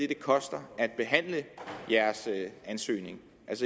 det koster at behandle jeres ansøgning